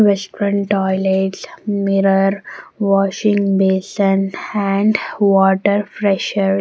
Western toilets mirror washing bason and water fresher.